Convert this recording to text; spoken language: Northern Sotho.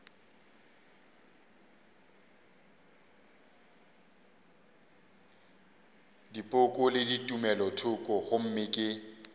dipoko le tumelothoko gomme ke